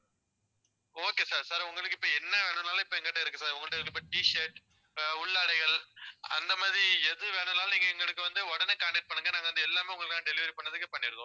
okay sir sir உங்களுக்கு இப்ப என்ன வேணும்னாலும் இப்ப எங்ககிட்ட இருக்கு sir உங்க கிட்ட இருக்கற t-shirt அஹ் உள்ளாடைகள் அந்த மாதிரி எது வேணும்னாலும் நீங்க எங்களுக்கு வந்து உடனே contact பண்ணுங்க நாங்க வந்து எல்லாமே உங்களுக்கு நான் delivery பண்றதுக்கு பண்ணிடுவோம்